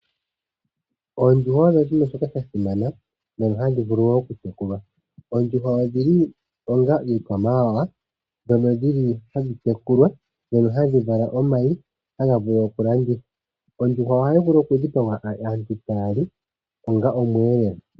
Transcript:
Oondjuhwa odho oshinima shoka shasimana nenge hashi vulu okutekulwa. Oondjuhwa odhili onga iikwamawawa, ndhono dhili hadhi tekulwa, ndhoño hadhi vala omayi ngono haga vulu okulandithwa. Ondjuhwa ohayi vulu oku dhipagwa aantu taa li onga omweelelo.